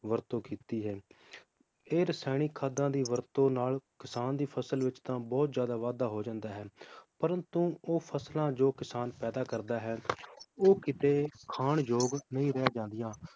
ਵਰਤੋਂ ਕੀਤੀ ਹੈ ਇਹ ਰਸਾਇਣਿਕ ਖਾਦਾਂ ਦੀ ਵਰਤੋਂ ਨਾਲ ਕਿਸਾਨ ਦੀ ਫਸਲ ਵਿਚ ਤਾਂ ਬਹੁਤ ਜ਼ਿਆਦਾ ਵਾਧਾ ਹੋ ਜਾਂਦਾ ਹੈ, ਪ੍ਰੰਤੂ ਉਹ ਫਸਲਾਂ ਜੋ ਕਿਸਾਨ ਪੈਦਾ ਕਰਦਾ ਹੈ ਉਹ ਕੀਤੇ ਖਾਣ ਯੋਗ ਨਹੀਂ ਰਹਿ ਜਾਂਦੀਆਂ